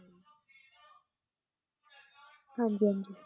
ਹਾਂਜੀ ਹਾਂਜੀ।